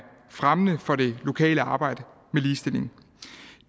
fremmende for det lokale arbejde med ligestilling